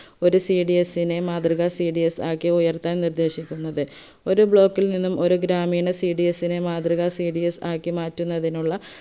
ഒര് cds നെ മാതൃക cds ആക്കി ഉയർത്താൻ നിർദേശിക്കുന്നത് ഒര് block ൽ നിന്നും ഒരു ഗ്രാമീണ cds നെ മാതൃക cds ആക്കി മാറ്റുന്നതിനുള്ള